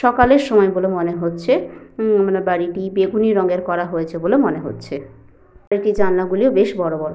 সকালের সময় বলে মনে হচ্ছে। উম মানে বাড়িটি বেগুনী রঙের করা হয়েছে বলে মনে হচ্ছে। বাড়িটির জানলাগুলিও বেশ বড় বড়।